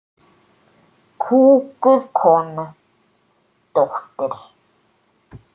Kúguð kona, dóttir.